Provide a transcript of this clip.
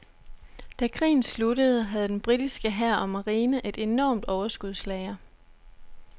Da krigen sluttede havde den britiske hær og marine et enormt overskudslager.